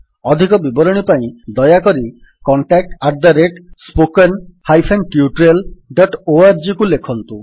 ଅଧିକ ବିବରଣୀ ପାଇଁ ଦୟାକରି contactspoken tutorialorgକୁ ଲେଖନ୍ତୁ